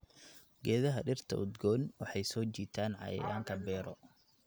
Geedaha dhirta udgoon waxay soo jiitaan cayayaanka beero.